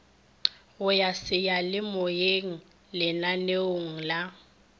go ya seyalemoyeng lananeong la